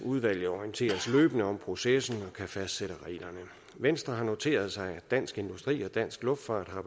udvalget orienteres løbende om processen og kan fastsætte reglerne venstre har noteret sig at dansk industri og dansk luftfart har